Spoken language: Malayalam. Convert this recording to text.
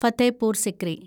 ഫത്തേപൂർ സിക്രി